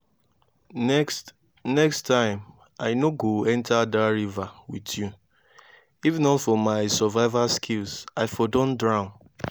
next next time i no go enter dat river with you. if not for my survival skills i for don drown